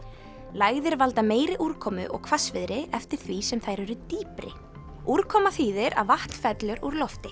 lægðir valda meiri úrkomu og hvassviðri eftir því sem þær eru dýpri úrkoma þýðir að vatn fellur úr lofti